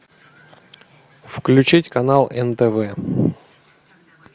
включить канал нтв